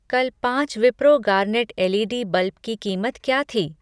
कल पाँच Wipro garnet L E D bulb की कीमत क्या थी?